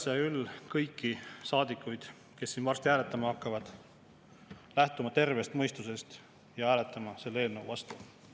Kutsun üles kõiki saadikuid, kes siin varsti hääletama hakkavad, lähtuma tervest mõistusest ja hääletama selle eelnõu vastu.